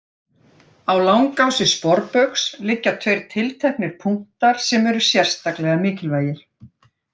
Á langási sporbaugs liggja tveir tilteknir punktar sem eru sérstaklega mikilvægir.